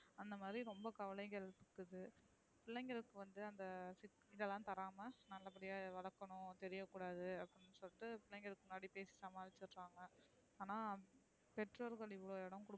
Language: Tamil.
அந்த மாறி ரொம்ப கவலைகள் இருக்குது பிள்ளைங்களுக்கு வந்து அந்த இதெல்லாம்தாரமா நம்ம அப்டியே வளக்கணும் தெரிய கூடாது. அப்டின்னு சொல்லிட்டு பிள்ளைங்களுக்கு முண்ணாடி பேசாம கொல்லாம அனா பெற்றோர்கள் இவ்ளோ இடம்,